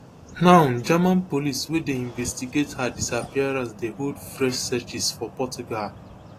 now german police wey dey investigate her disappearance dey hold fresh searches for portugal